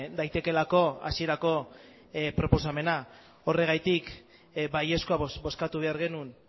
daitekeelako hasierako proposamena horregatik baiezkoa bozkatu behar genuen